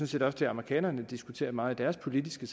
set også det amerikanerne diskuterer meget i deres politiske